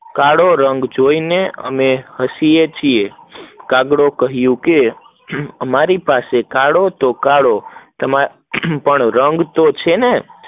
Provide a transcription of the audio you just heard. કાળો રંગ જોઈ ને અમે હસીયે છીએ, કાગડો કહીંયુ કે અમારી પાસે કાળો તો કાળો રંગ છે તો